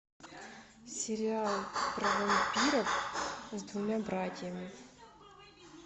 сериал про вампиров с двумя братьями